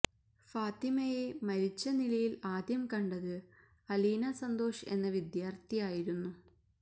ഫാത്തിമയെ മരിച്ച നിലയില് ആദ്യം കണ്ടത് അലീന സന്തോഷ് എന്ന വിദ്യാര്ഥിയായിരുന്നു